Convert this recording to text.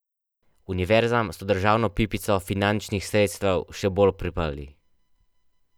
Univerzam so državno pipico finančnih sredstev še bolj priprli.